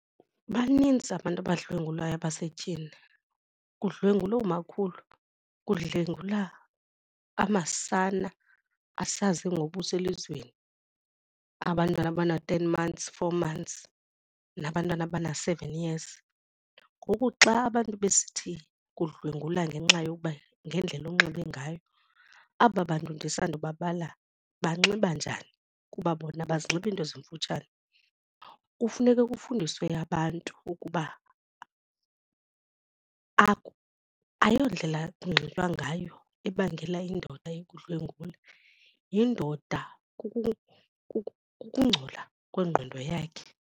Banintsi abantu abadlwengulwayo basetyhini, kudlwengulwa oomakhulu, kudlwengulwa amasana asaze ngobuso elizweni, abantwana aban-ten months, four months nabantwana abana-seven years. Ngoku xa abantu besithi kudlwengulwa ngenxa yokuba ngendlela onxibe ngayo, aba bantu ndisandubabala banxiba njani kuba bona abazinxibi iinto ezimfutshane. Kufuneka kufundiswe abantu ukuba ayondlela kunxitywa ngayo ebangela indoda ikudlwengule, yindoda, kukungcola kwengqondo yakhe.